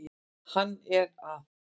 Hann er að